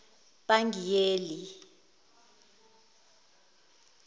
pangiyeli